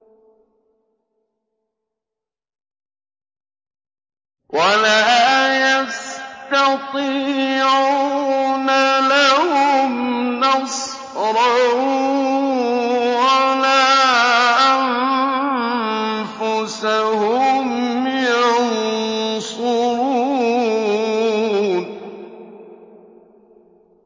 وَلَا يَسْتَطِيعُونَ لَهُمْ نَصْرًا وَلَا أَنفُسَهُمْ يَنصُرُونَ